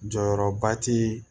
Jɔyɔrɔba ti